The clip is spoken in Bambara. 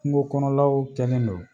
Kungo kɔnɔlaw cɛn len don